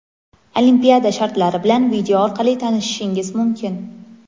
Olimpiada shartlari bilan video orqali tanishishingiz mumkin!.